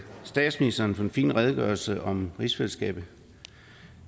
statsministeren for den fine redegørelse om rigsfællesskabet